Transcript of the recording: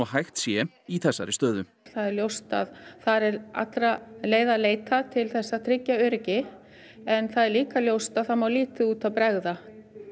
hægt sé í þessari stöðu það er ljóst að það er allra leiða leitað til að tryggja öryggi en það er líka ljóst að það má lítið út af bregða